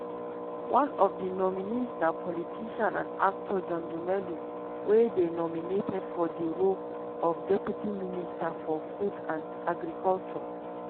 one of di nominees na politician and actor john dumelo wey dey nominated for di role of deputy minister for food and agriculture.